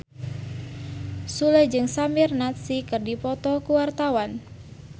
Sule jeung Samir Nasri keur dipoto ku wartawan